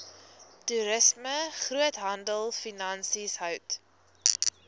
toerisme groothandelfinansies hout